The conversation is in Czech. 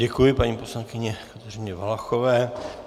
Děkuji paní poslankyni Kateřině Valachové.